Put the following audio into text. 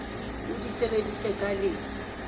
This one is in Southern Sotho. o di sebedise ka le